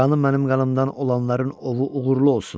Qanı mənim qanımdan olanların ovu uğurlu olsun!